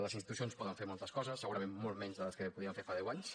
les institucions poden fer moltes coses segurament moltes menys de les que podien fer fa deu anys